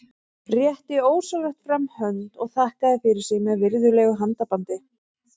Rétti ósjálfrátt fram hönd og þakkaði fyrir sig með virðulegu handabandi.